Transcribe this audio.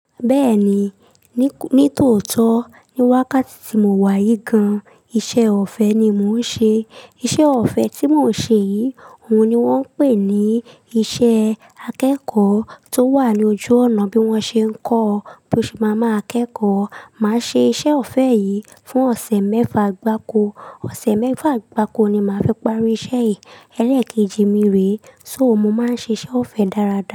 Bẹ́ẹ̀ni, ní, ní tòótọ́, ní wákàtí tí mo wá yìí gan, iṣẹ́ ọ̀fẹ́ ni mò ń ṣe. Iṣẹ́ ọ̀fẹ́ tí mò ń ṣe yìí, òun ni wọ́n ń pè ní iṣẹ́ akẹ́kọ̀ọ́ tó wà ní ojú ọ̀nà bí wọ́n ṣe ń kọ́, bí mo ṣe máa máa kẹ́kọ̀ọ́. Mà á ṣe iṣẹ́ ọ̀fẹ́ yìí fún ọ̀sẹ̀ mẹ́fa gbá ko. Ọ̀sẹ̀ mẹ́fa gbá ko ni mà á fi parí iṣẹ́ yìí. Ẹlẹ́ẹ̀kejì mi rè é, so mo máa ń ṣe iṣẹ́ ọ̀fẹ́ dáradára.